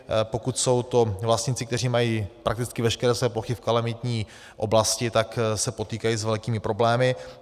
Pokud jsou to vlastníci, kteří mají prakticky veškeré své plochy v kalamitní oblasti, tak se potýkají s velkými problémy.